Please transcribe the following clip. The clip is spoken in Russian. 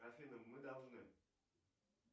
афина мы должны